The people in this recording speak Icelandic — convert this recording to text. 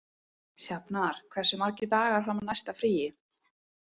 Sjafnar, hversu margir dagar fram að næsta fríi?